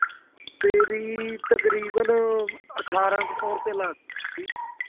ਮੇਰੀ ਤਕਰੀਬਨ ਅਠਾਰਾਂ ਕੁ ਸੋ ਰਪਇਆ ਲੱਗੀ ਸੀ